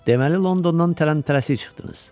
Deməli Londondan tələm-tələsik çıxdınız?